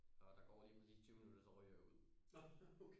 Og der går lige præcis tyve minutter så ryger jeg ud